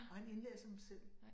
Og han indlæser dem selv